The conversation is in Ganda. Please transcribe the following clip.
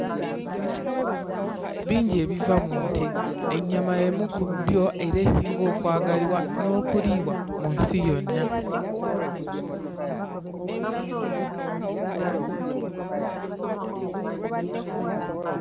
Bingi ebiva mu nte ennyama y'emu ku bbyo era esinga okwagalibwa n'okuliibwa mu nsi yonna.